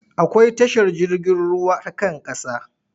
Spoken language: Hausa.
Akwai tashar jirgin ruwa ta kan ƙasa.